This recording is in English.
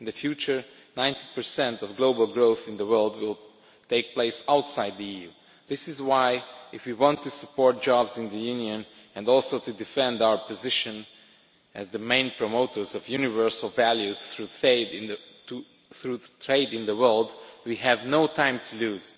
In the future, 90 of global growth in the world will take place outside the EU. This is why, if we want to support jobs in the Union and also defend our position as the main promoters of universal values through trade in the world, we have no time to lose.